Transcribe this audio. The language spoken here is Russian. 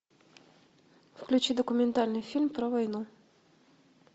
включи документальный фильм про войну